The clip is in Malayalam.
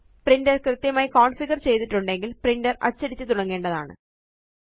പ്രിന്റർ കൃത്യമായി കോണ്ഫിഗര് ചെയ്തിട്ടുണ്ടെങ്കില് പ്രിന്റർ അച്ചടിച്ചു തുടങ്ങേണ്ടതാണ്